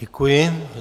Děkuji.